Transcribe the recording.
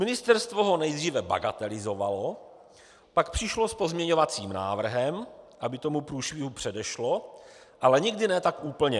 Ministerstvo ho nejdříve bagatelizovalo, pak přišlo s pozměňovacím návrhem, aby tomu průšvihu předešlo, ale nikdy ne tak úplně.